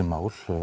mál